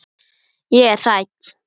Ég er hrædd.